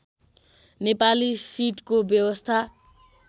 नेपाली सिटको व्यवस्था